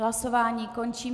Hlasování končím.